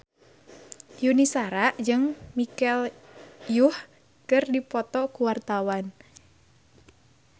Yuni Shara jeung Michelle Yeoh keur dipoto ku wartawan